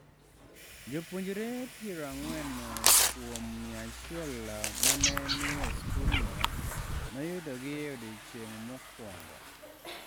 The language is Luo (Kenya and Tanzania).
""Jopuonjre pira ang'wen kuom mia achiel ma ne ni e skulno noyudogi e odiechieng' mokwongo."